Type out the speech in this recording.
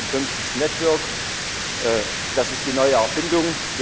Und fünftens Network Das ist die neue Erfindung.